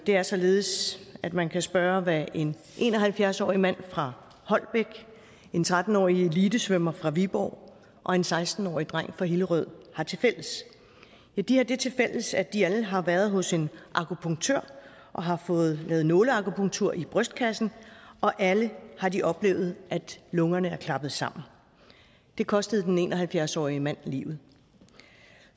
er således at man kan spørge hvad en en og halvfjerds årig mand fra holbæk en tretten årig elitesvømmer fra viborg og en seksten årig dreng fra hillerød har tilfælles ja de har det tilfælles at de alle har været hos en akupunktør og har fået lavet nåleakupunktur i brystkassen og alle har de oplevet at lungerne er klappet sammen det kostede den en og halvfjerds årige mand livet